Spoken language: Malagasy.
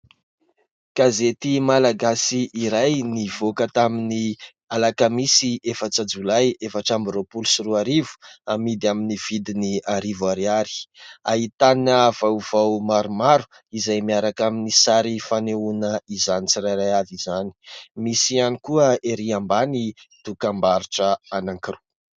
Gazety malagasy iray nivoaka tamin'ny alakamisy efatra jolay efatra amby roapolo sy roarivo, hamidy amin'ny vidiny arivo ariary. Ahitana vaovao maromaro izay miaraka amin'ny sary fanehoana izany tsirairy avy izany. Misy ihany koa ery ambany dokam-barotra anankiroa.